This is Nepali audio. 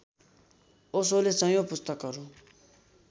ओशोले सयौं पुस्तकहरू